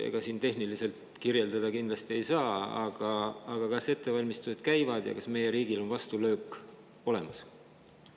Ega seda tehniliselt kirjeldada kindlasti ei saa, aga kas ettevalmistused käivad ja kas meie riigil on vastulöök olemas?